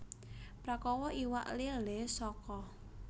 Prakawa iwak lélé saka